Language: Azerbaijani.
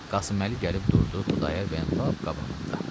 Qasıməli gəlib durdu Xudayar bəyin lap qabağında.